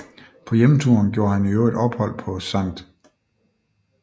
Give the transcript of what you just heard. På hjemturen gjorde han i øvrigt ophold på St